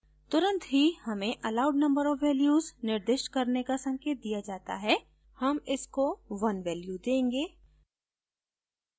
तुरंत ही हमें allowed number of values निर्दिष्ट करने का संकेत दिया जाता है हम इसको 1 values देंगे